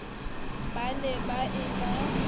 ba ne ba e na